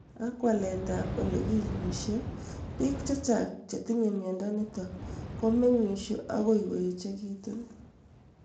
Ak walaet ab ole kinyishe , piik chechang' che tinye miondo nitok komeng'ishe akoi ko echekitu